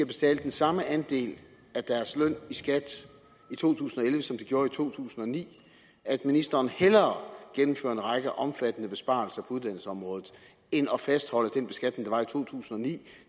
betale den samme andel af deres løn i skat i to tusind og elleve som de gjorde i to tusind og ni at ministeren hellere gennemfører en række omfattende besparelser på uddannelsesområdet end at fastholde den beskatning der var i to tusind og ni